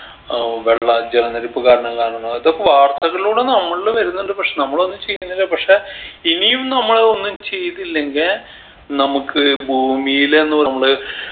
ആഹ് വെള്ള ജലനിരപ്പ് കാരണം കാണണം ഇതൊക്കെ വാർത്തകളിലൂടെ നമ്മളിൽ വരുന്നുണ്ട് പക്ഷെ നമ്മളൊന്നും ചെയുന്നില്ല പക്ഷെ ഇനിയും നമ്മൾ ഒന്നും ചെയ്തില്ലെങ്കെ നമക്ക് ഭൂമിയിലെന്നും നമ്മള്